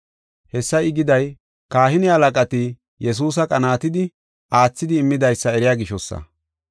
Hessa I giday, kahine halaqati Yesuusa qanaatidi aathidi immidaysa eriya gishosa.